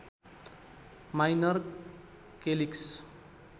minor calyx